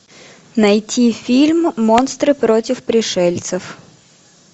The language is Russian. найти фильм монстры против пришельцев